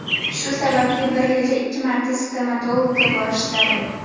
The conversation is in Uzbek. Shu sababli bir yilda ikki marta stomatologga borish zarur.